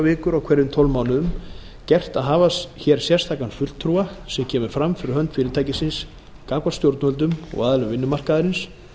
vikur á hverjum tólf mánuðum gert að hafa hér sérstakan fulltrúa sem kemur fram fyrir hönd fyrirtækisins gagnvart stjórnvöldum og aðilum vinnumarkaðarins